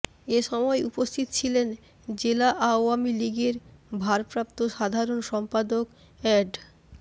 এ সময় উপস্থিত ছিলেন জেলা আওয়ামী লীগের ভারপ্রাপ্ত সাধারণ সম্পাদক এ্যাড